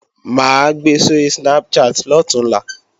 Mà á gbe sóri Snapchat lọ̀túnla